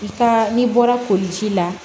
I ka n'i bɔra koliji la